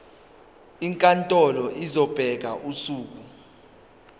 inkantolo izobeka usuku